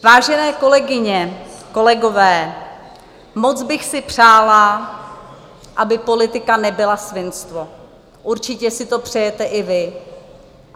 Vážené kolegyně, kolegové, moc bych si přála, aby politika nebyla svinstvo, určitě si to přejete i vy.